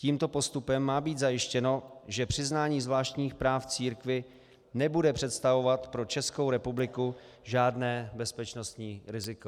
Tímto postupem má být zajištěno, že přiznání zvláštních práv církvi nebude představovat pro Českou republiku žádné bezpečnostní riziko.